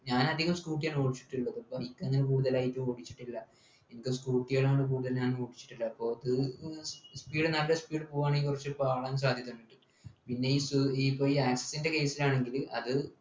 ഞാനധികം scooter ആണ് ഓടിച്ചിട്ടുള്ളത് bike അങ്ങനെ കൊടുത്തലായിട്ട് ഓടിച്ചിട്ടില്ല എനിക്ക് scooter കളാണ് കൂടുതൽ ഞാൻ ഓടിച്ചിട്ടുള്ളത് അപ്പോ അത് speed നല്ല speed ൽ പോവ്വാണെങ്കിൽ പാളാൻ സാധ്യതയുണ്ട് പിന്നെ ഈ സു ഈ access ൻ്റെ case ലാണെങ്കില് അത്